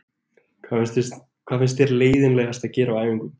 Hvað finnst þér leiðinlegast að gera á æfingum?